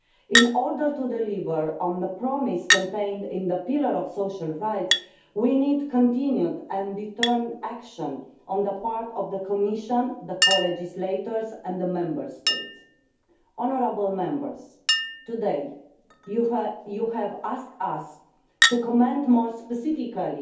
In order to deliver on the promise contained in the pillar of social rights, we need continued and determined action on the part of the Commission, the co-legislators and the Member States. Honourable Members, today you have asked us to comment more specifically